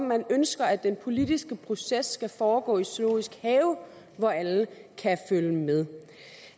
man ønsker at den politiske proces skal foregå i zoologisk have hvor alle kan følge med